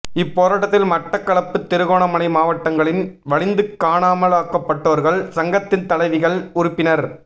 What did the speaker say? இப்போராட்டத்தில் மட்டக்களப்பு திருகோணமலை மாவட்டங்களின் வலிந்து காணாமலாக்கப்பட்டோர்கள் சங்கத்தின் தலைவிகள் உறுப்பினர்